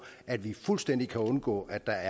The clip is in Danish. at vi fuldstændig kan undgå at der